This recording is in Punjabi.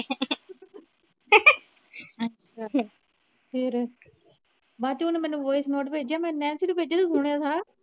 ਬਾਅਦ ਚ ਓਹਨੇ ਮੈਨੂੰ voice note ਭੇਜਿਆ ਮੈ ਨੈਨਸੀ ਨੂੰ ਭੇਜਿਆ ਤੂੰ ਸੁਣਿਆ ਥਾ।